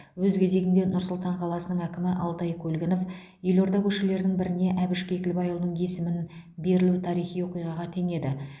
өз кезегінде нұр сұлтан қаласының әкімі алтай көлгінов елорда көшелерінің біріне әбіш кекілбайұлының есімін берілу тарихи оқиғаға теңеді